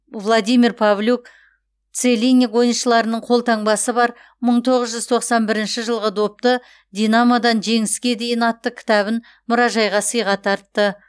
владимир павлюк целинник ойыншыларының қолтаңбасы бар мың тоғыз жүз тоқсан бірінші жылғы допты динамодан жеңіске дейін атты кітабын мұражайға сыйға тартты